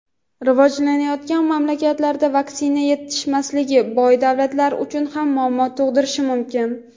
rivojlanayotgan mamlakatlarda vaksina yetishmasligi boy davlatlar uchun ham muammo tug‘dirishi mumkin.